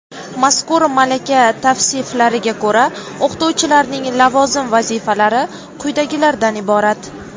Mazkur malaka tavsiflariga ko‘ra o‘qituvchilarning lavozim vazifalari quyidagilardan iborat:.